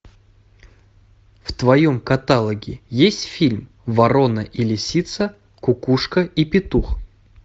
в твоем каталоге есть фильм ворона и лисица кукушка и петух